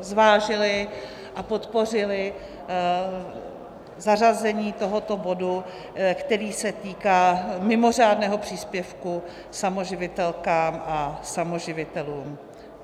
zvážili a podpořili zařazení tohoto bodu, který se týká mimořádného příspěvku samoživitelkám a samoživitelům.